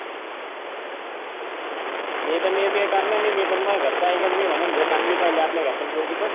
मी तर करणारच नाही पण मी घरच ऐकण मी तर म्हणन भाऊ चांगली पहिली आपल्या घरच्यान पोरगी बस झाल.